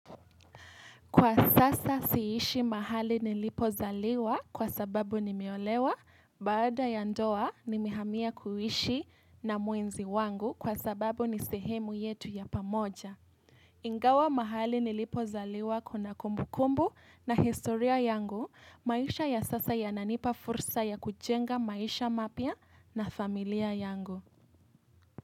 Kwa sasa si ishi mahali nilipozaliwa kwa sababu nimeolewa, baada ya ndoa nimehamia kuishi na muenzi wangu kwa sababu ni sehemu yetu ya pamoja. Ingawa mahali nilipozaliwa kuna kumbukumbu na historia yangu, maisha ya sasa yananipa fursa ya kujenga maisha mapya na familia yangu.